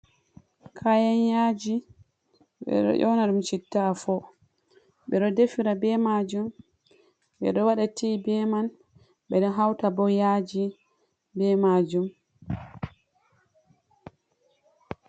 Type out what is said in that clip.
Kayan yaji ɓeɗo yona ɗum citta afo, bedo defira ɓe majum, ɓe ɗo waɗa tea be man ɓeɗo hauta ɓo yaji ɓe majum.